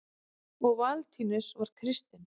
og valentínus var kristinn